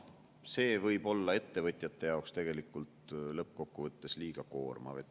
See võib olla ettevõtjate jaoks tegelikult lõppkokkuvõttes liiga koormav.